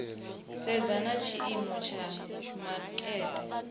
sedza na tshiimo tsha makete